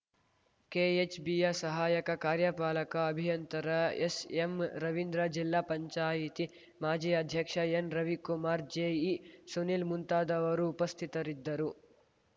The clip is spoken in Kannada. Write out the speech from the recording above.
ಕೆಎಚ್‌ಬಿಯ ಸಹಾಯಕ ಕಾರ್ಯಪಾಲಕ ಅಭಿಯಂತರ ಎಸ್‌ಎಂ ರವಿಂದ್ರ ಜಿಲ್ಲಾ ಪಂಚಾಯಿತಿ ಮಾಜಿ ಅಧ್ಯಕ್ಷ ಎನ್‌ರವಿಕುಮಾರ್‌ ಜೆಇ ಸುನೀಲ್‌ ಮುಂತಾದವರು ಉಪಸ್ಥಿತರಿದ್ದರು